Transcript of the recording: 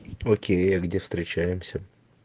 окей а где встречаемся